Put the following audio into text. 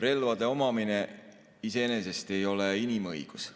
Relvade omamine iseenesest ei ole inimõigus.